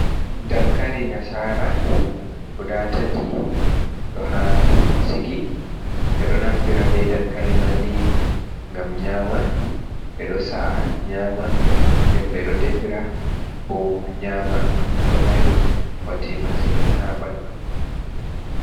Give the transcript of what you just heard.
Dankali nasaara ndaa tati ɗo haa sigi ɓe ɗo do naftira bee dankali man nii ngam nyaama ɓe ɗo sa’a nyaama nden ɓe ɗo defira bo ɓe nyaama ɗo mari bote masin haa banndu.